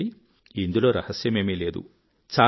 చూడండి ఇందులో రహస్యమేమీ లేదు